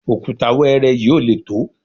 òkúta wẹ́ẹ́rẹ́ yìí ò lè tó